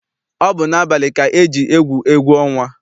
Ọ bụ n'abalị ka eji egwu egwu ọnwa.